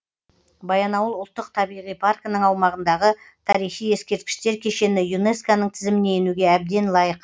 баянауыл ұлттық табиғи паркінің аумағындағы тарихи ескерткіштер кешені юнеско ның тізіміне енуге әбден лайық